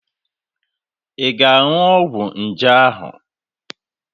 Ị ga-aṅụ ọgwụ nje ahụ?